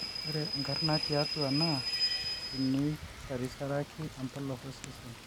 ore enkarna tiatua naa tinisarisaraki embolos osesen